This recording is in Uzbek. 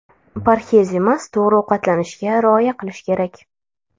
Parhez emas, to‘g‘ri ovqatlanishga rioya qilish kerak.